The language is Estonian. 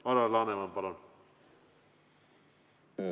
Alar Laneman, palun!